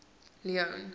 leone